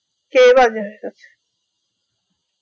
কে বাজে হয়ে গেছে